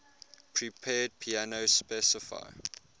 prepared piano specify